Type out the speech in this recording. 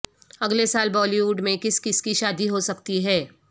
اگلے سال Bollywood میں کس کس کی شادی ہو سکتی ہے